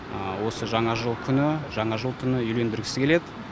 осы жаңа жыл күні жаңа жыл түні үйлендіргісі келеді